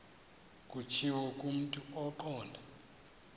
kutshiwo kumntu ongqondo